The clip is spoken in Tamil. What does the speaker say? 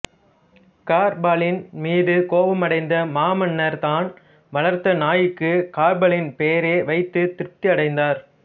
கர்பாலின் மீது கோபம் அடைந்த மாமன்னர் தான் வளர்த்த நாய்க்கு கர்பாலின் பெயரையே வைத்து திருப்தி அடைந்தார்